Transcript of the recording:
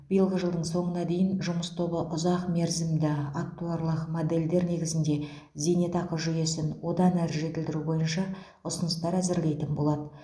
биылғы жылдың соңына дейін жұмыс тобы ұзақ мерзімді актуарлық модельдер негізінде зейнетақы жүйесін одан әрі жетілдіру бойынша ұсыныстар әзірлейтін болады